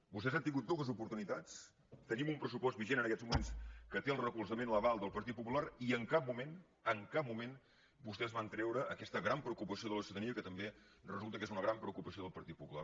vostès han tingut dues oportunitats tenim un pressu·post vigent en aquests moments que té el recolzament l’aval del partit popular i en cap moment en cap mo·ment vostès van treure aquesta gran preocupació de la ciutadania que també resulta que és una gran pre·ocupació del patit popular